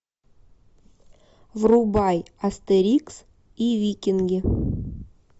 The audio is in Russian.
врубай астерикс и викинги